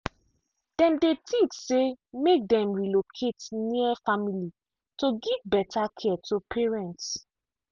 dem dey think say make dem relocate near family to give better care to parents.